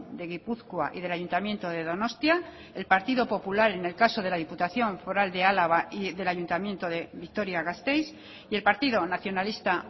de gipuzkoa y del ayuntamiento de donostia el partido popular en el caso de la diputación foral de álava y del ayuntamiento de vitoria gasteiz y el partido nacionalista